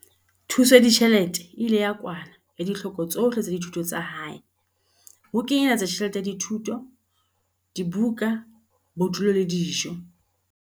Thuso ya ditjhelete e ile ya kwala ditlhoko tsohle tsa dithuto tsa hae, ho kenyeletsa tjhelete ya thuto, dibuka, bodulo le dijo.